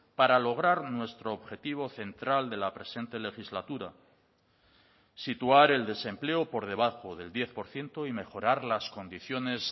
para lograr nuestro objetivo central de la presente legislatura situar el desempleo por debajo del diez por ciento y mejorar las condiciones